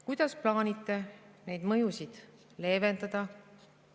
Kuidas plaanite neid mõjusid leevendada?